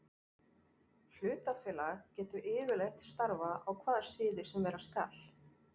Hlutafélag getur yfirleitt starfað á hvaða sviði sem vera skal.